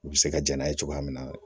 U bɛ se ka ja n'a ye cogoya min na